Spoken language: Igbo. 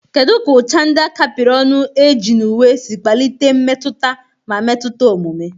Kedu ka ụcha ndị a kapịrị ọnụ eji na uwe si kpalite mmetụta ma metụta omume?